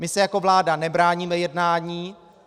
My se jako vláda nebráníme jednání.